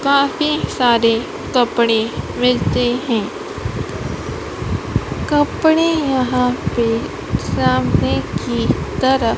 काफी सारे कपड़े मिलते हैं कपड़े यहां पे सामने की तरफ--